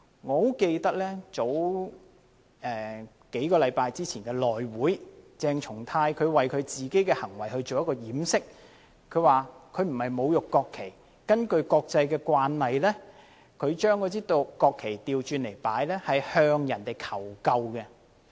我很記得，在數星期前的內務委員會會議上，鄭松泰議員為自己的行為作掩飾，說他不是侮辱國旗，因為根據國際慣例，把國旗倒轉擺放是向他人求救的意思。